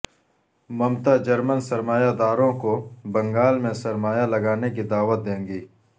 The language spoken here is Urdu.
ممتا جرمن سرمایہ داروں کو بنگال میں سرمایہ لگانے کی دعوت دیں گی